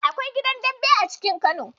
Akwai gidan Dembe a cikin Kano.